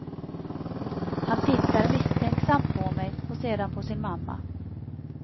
Han tittar misstänksamt på mig och sedan på sin mamma.